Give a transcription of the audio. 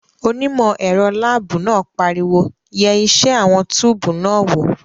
Onímọ̀ ẹ̀rọ láàbù náà pariwo "yẹ iṣẹ́ àwọn túùbù náà wò!"